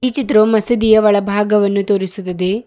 ಈ ಚಿತ್ರವು ಮಸೀದಿಯ ಒಳಭಾಗವನ್ನು ತೋರಿಸುತ್ತದೆ.